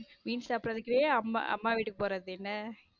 மீன் சாப்பிடுவதற்குன்னு அம்மா வீட்டுக்கு போறது என்ன.